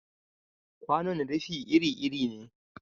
Kwanon rufi iri-iri ne.